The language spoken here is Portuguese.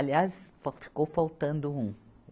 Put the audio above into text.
Aliás, só ficou faltando um.